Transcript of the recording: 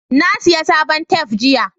na saya sabon tef jiya